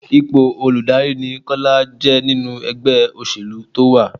Ipò olùdarí ni Kọ́lá jẹ́ nínú ẹgbẹ́ òṣèlú tó wá.